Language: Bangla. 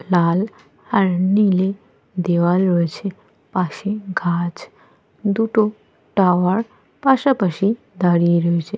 লাল আর নীলে দেওয়া রয়েছে। পাশে গাছ। দুটো টাওয়ার পাশাপাশি দাঁড়িয়ে রয়েছে।